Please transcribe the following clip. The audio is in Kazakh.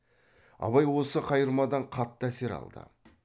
абай осы қайырмадан қатты әсер алды